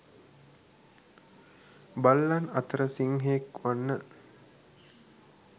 බල්ලන් අතර සිංහයෙක් වන්න.